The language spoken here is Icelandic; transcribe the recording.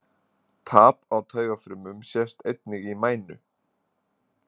Tap á taugafrumum sést einnig í mænu.